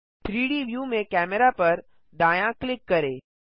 3डी व्यू में कैमेरा पर दायाँ क्लिक करें